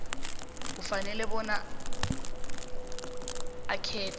ufanele bona akhethe